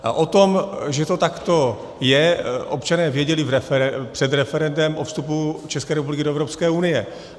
A o tom, že to takto je, občané věděli před referendem o vstupu České republiky do Evropské unie.